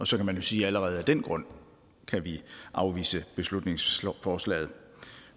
så kan man jo sige at allerede af den grund kan vi afvise beslutningsforslaget